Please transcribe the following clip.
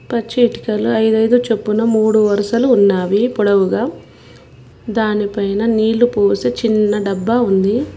పచ్చ ఇటుకలు అయిదు అయిదు చొప్పున మూడు వరసలు ఉన్నావి పొడవుగా దానిపైన నీళ్లు పోసే చిన్న డబ్బా ఉంది.